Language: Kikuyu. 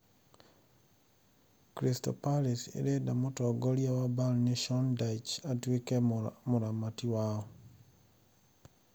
(Aksam, via Birmingham Mail) Crystal Palace ĩrenda mũtongoria wa Burnley Sean Dyche atuĩke mũramati wao.